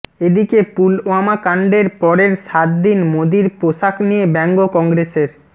এদিকে পুলওয়ামা কাণ্ডের পরের সাত দিন মোদির পোশাক নিয়ে ব্যঙ্গ কংগ্রেসের